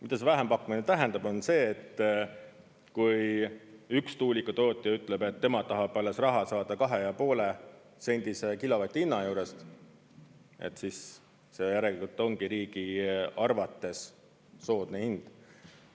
Mida see vähempakkumine tähendab, on see, et kui üks tuulikutootja ütleb, et tema tahab alles raha saada 2,5-sendise kilovati hinna juurest, siis see järelikult ongi riigi arvates soodne hind.